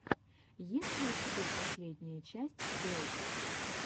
есть ли у тебя последняя часть сплэйт